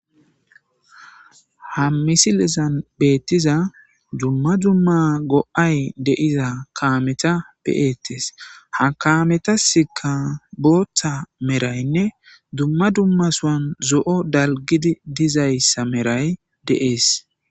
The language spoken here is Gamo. ha misilezan beettiza dumma dumma go7ay deiza kaameta beyettes ha kametasika booththa meraynne dumma dumma soan zo7o dalgidi dizayssa meray deees